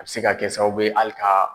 A bɛ se ka kɛ sababuw bɛ hali ka